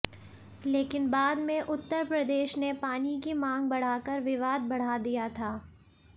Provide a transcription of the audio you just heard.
लेकिन बाद में उत्तर प्रदेश ने पानी की मांग बढ़ाकर विवाद बढ़ा दिया था